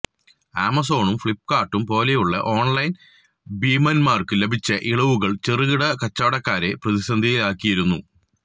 ആമസോണും ഫ്ലിപ്കാർട്ടും പോലെയുള്ള ഓൺലൈൻ ഭീമന്മാർക്കു ലഭിച്ച ഇളവുകളും ചെറുകിട കച്ചവടക്കാരെ പ്രതിസന്ധിയിലാക്കിയിരുന്നു